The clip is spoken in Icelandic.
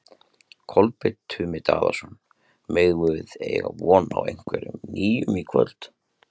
Kolbeinn Tumi Daðason: Megum við eiga von á einhverju nýju í kvöld?